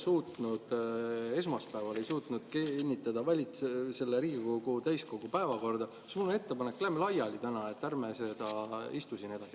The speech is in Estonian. Kuivõrd me esmaspäeval ei suutnud kinnitada Riigikogu täiskogu selle päevakorda, siis mul on ettepanek: lähme laiali täna, ärme istu siin edasi.